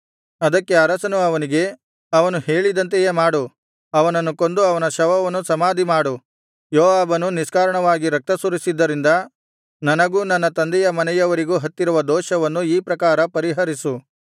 ಅದಕ್ಕೆ ಅರಸನು ಅವನಿಗೆ ಅವನು ಹೇಳಿದಂತೆಯೇ ಮಾಡು ಅವನನ್ನು ಕೊಂದು ಅವನ ಶವವನ್ನು ಸಮಾಧಿಮಾಡು ಯೋವಾಬನು ನಿಷ್ಕಾರಣವಾಗಿ ರಕ್ತಸುರಿಸಿದ್ದರಿಂದ ನನಗೂ ನನ್ನ ತಂದೆಯ ಮನೆಯವರಿಗೂ ಹತ್ತಿರುವ ದೋಷವನ್ನು ಈ ಪ್ರಕಾರ ಪರಿಹರಿಸು